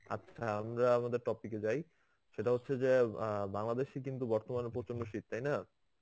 আচ্ছা আমরা আমাদের topic এ যাই সেটা হচ্ছে যে অ্যাঁ বাংলাদেশে কিন্তু বর্তমানে প্রচন্ড শীত তাই না?